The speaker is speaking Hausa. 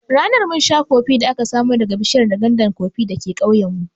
Ranan mun sha kofee da aka samo daga bishiyar nganda koffee dake ƙauyen mu